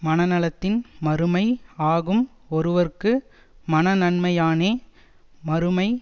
மனநலத்தின் மறுமை ஆகும்ஒருவற்கு மனநன்மையானே மறுமை